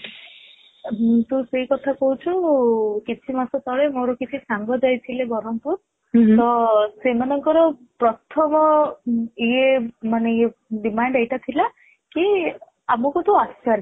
ହୁଁ ତୁ ସେଇ କଥା କହୁଚୁ କିଛି ମାସ ତଳେ ମୋର କିଛି ସାଙ୍ଗ ଯାଇ ଥିଲେ ବ୍ରହ୍ମପୁର ତ ସେମାନେ ଙ୍କ ର ପ୍ରଥମ ଇଏ ମାନେ ଇଏମାନେ Demand ଏଇଟା ଥିଲା କି ଆମକୁ ତୁ ଆଚାର